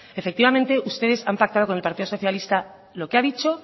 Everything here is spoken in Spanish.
efectivamente ustedes han pactado con el partido socialista lo que ha dicho